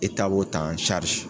b'o ta